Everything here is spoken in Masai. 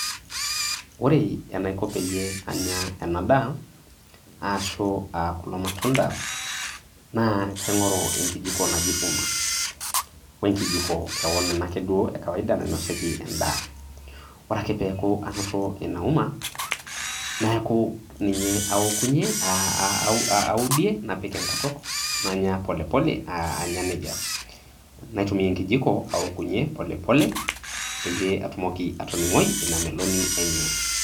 Ore enaiko peyie anya ena daa aashu kulo matunda naa kaingoru enkijiko naji uma , wenkijiko keon ena ake duo nainosieki endaa. Ore ake peaku anoto ina uma , niaku ninye aokunyie naudie napik enkutuk nanya polepole anya nejia .Naitumiaenkijiko aokunyie pole pole peyie aining ina meloni enye .